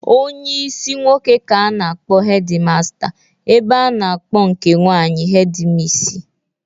Onyeisi nwoke ka a na-akpọ hedi master ebe a na-akọ nke nwaanyị hedi misi.